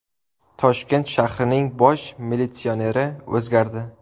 Toshkent shahrining bosh militsioneri o‘zgardi.